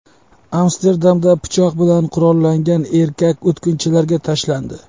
Amsterdamda pichoq bilan qurollangan erkak o‘tkinchilarga tashlandi.